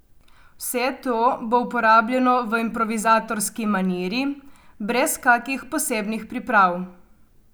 Vse to bo uporabljeno v improvizatorski maniri, brez kakih posebnih priprav.